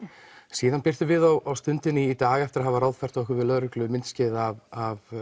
síðan birtum við á Stundinni í dag eftir að hafa ráðfært okkur við lögreglu myndskeið af